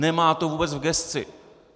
Nemá to vůbec v gesci.